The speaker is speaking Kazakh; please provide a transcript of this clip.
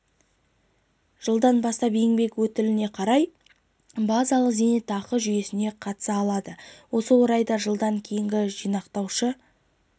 жылдан бастап еңбек өтіліне қарай базалық зейнетақы жүйесіне қатыса алады осы орайда жылдан кейінгі жинақтаушы